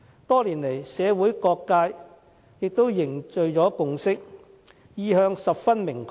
多年來社會各界也凝聚了共識，意向十分明確。